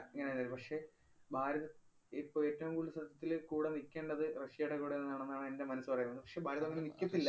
ഇങ്ങനെ തന്നേരുന്നു, പക്ഷെ ഭാരതം ഇപ്പ ഏറ്റവും കൂടുതല് സത്യത്തില് കൂടെ നിക്കേണ്ടത് റഷ്യേടെ കൂടെന്നാണെന്നാണ് എന്‍റെ മനസ്സ് പറയുന്നത്. പക്ഷെ ഭാരതം അങ്ങനെ നിക്കത്തില്ല.